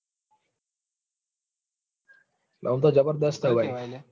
આતો જબરદસ્ત છે ભાઈ